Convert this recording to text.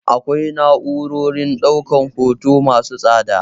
Akwai na'urorin ɗaukan hoto masu tsada.